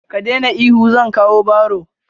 Ka daina ihu, zan kawo barro.